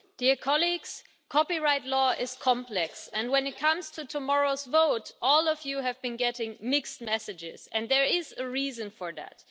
Mr President, copyright law is complex and, when it comes to tomorrow's vote, all of you have been getting mixed messages, and there is a reason for that.